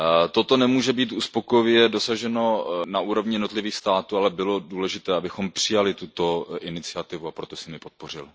Toto nemůže být uspokojivě dosaženo na úrovni jednotlivých států, ale bylo důležité, abychom přijali tuto iniciativu, a proto jsem ji podpořil.